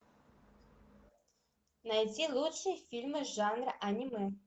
найти лучшие фильмы жанра аниме